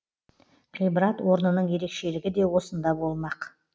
ғибрат орнының ерекшелігі де осында болмақ